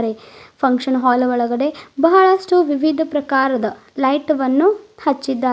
Function hall ಒಳಗಡೆ ಬಹಳಷ್ಟು ವಿವಿಧ ಪ್ರಕಾರದ ಲೈಟ್ ವನ್ನು ಹಚ್ಚಿದ್ದಾರೆ.